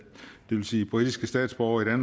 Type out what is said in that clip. sige britiske statsborgere i